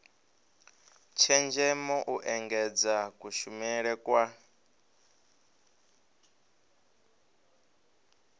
tshenzhemo u engedza kushumele kwa